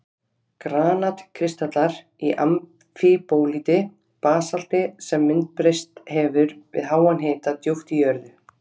Granat-kristallar í amfíbólíti, basalti sem myndbreyst hefur við háan hita djúpt í jörðu.